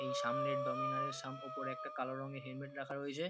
এই সামনের ডোমিনার -এর সাম উপর একটা কালো রঙের হেলমেট রাখা রয়েছে।